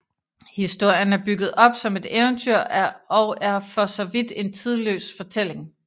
Historien er bygget op som et eventyr og er for så vidt en tidløs fortælling